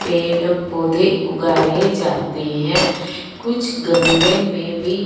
पेड़ पौधे उगाए जाते हैं कुछ गमले में भी--